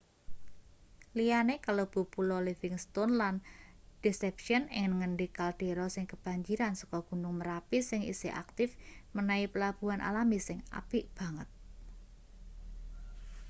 liyane kalebu pulo livingstone lan deception ing ngendi kaldera sing kebanjiran saka gunung merapi sing isih aktif menehi pelabuhan alami sing apik banget